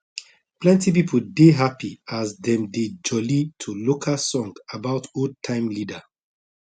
plenti pipo dey happy as dem dey jolly to local song about old time leader